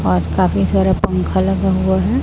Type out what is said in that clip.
और काफी सारा पंखा लगा हुआ हैं।